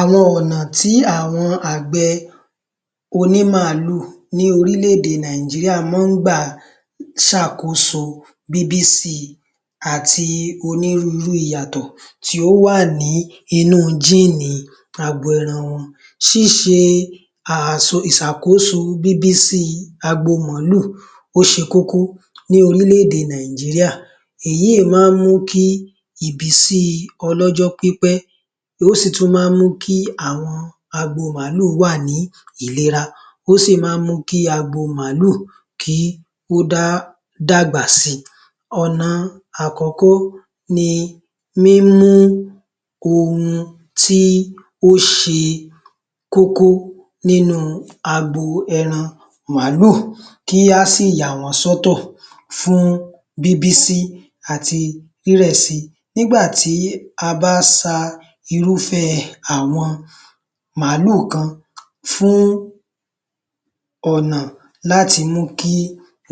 Àwọn ọ̀nà tí àwọn àgbẹ̀ oní màálù ní orílẹ̀-èdè Nàìjíríà má ń gbà ṣe àkóso bíbí si àti onírúurú ìyàtọ̀ tí ó wà ní inú géènì agbo ẹran wọn. Ṣíṣe ìṣàkóso bíbí si agbo màálù ó ṣe kókó ní orílẹ̀-èdè Nàìjíríà. Èyí má ń mú kí ìbísí ọlọ́jọ́ pípẹ́, ó sì tún ma ń mú kí àwọn agbo màálù wà ní ìlera, ó sì má ń mú kí agbo màálù kí ó dàgbà si. Ọ̀nà àkọ́kọ́ ni mímú ohun tí ó ṣe kókó nínú agbo ẹran màálù kí a sì yà wọ́n sọ́tọ̀ fún bíbí si àti rírẹ̀ si. Nígbà tí a bá ṣa irúfẹ́ àwọn màálù kan fún ọ̀nà láti mú kí